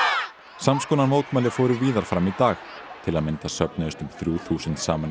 samskonar mótmæli fóru víðar fram í dag til að mynda söfnuðust um þrjú þúsund saman í